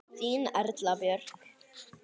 Þín Erla Björk.